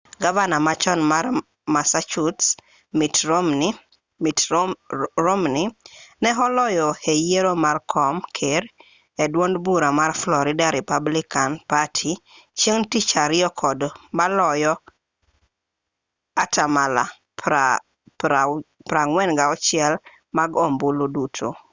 gavana ma chon mar massachusetts mitt romney ne oloyo e yiero mar kom ker e duond bura mar florida republican party chieng' tich ariyo kod maloyo atamalo 46 mag ombulu duto